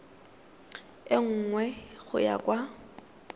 e nngwe go ya kwa